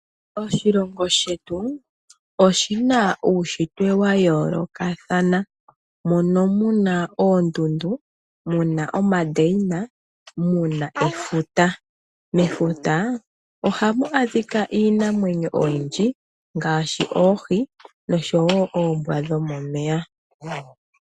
Oshilongo shetu oshina uunshitwe wa yoolokathana. Mono muna oondundu muna omadeina, muna efuta. Mefuta ohamu adhika iinamwenyo oyindji ngaashi oohi nosho woo oombwa dhomomeya.